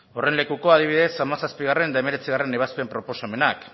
horren lekuko adibidez hamazazpigarrena eta hemeretzigarrena ebazpen proposamenak